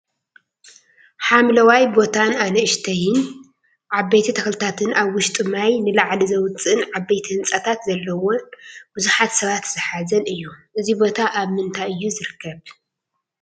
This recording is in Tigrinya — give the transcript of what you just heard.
ሓምለዋይ ቦታን ኣንእሽተይን ዓበይቲ ተክልታትን ኣብ ውሽጡ ማይ ንላዕሊ ዘውፅእን ዓበይቲ ህንፃታት ዘለዎን ብዙሓት ሰበት ዝሓዘን እዩ። እዙይ ቦታ ኣብ ምንታይ እዩ ዝርከብ?